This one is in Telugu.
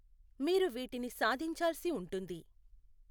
మీరు వీటిని సాధించాల్సి ఉంటుంది.